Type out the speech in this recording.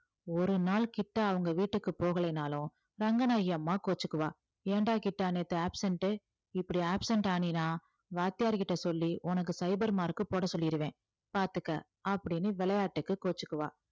ஒரு நாள் கிட்டா அவங்க வீட்டுக்கு போகலைன்னாலும் ரங்கநாயகி அம்மா கோவிச்சுக்குவா ஏன்டா கிட்டா நேத்து absent உ இப்படி absent ஆனின்னா வாத்தியார்கிட்ட சொல்லி உனக்கு சைபர் mark போட சொல்லிடுவேன் பார்த்துக்க அப்படின்னு விளையாட்டுக்கு கோவிச்சுக்குவா